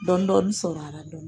Dɔɔni dɔɔni sɔrɔ a la do.